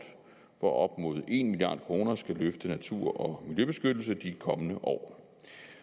hvor op mod en milliard kroner skal løfte natur og miljøbeskyttelse i de kommende år